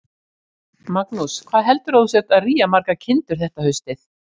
Magnús: Hvað heldurðu að þú sért að rýja margar kindur þetta haustið?